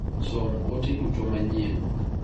Som ote duto manyien .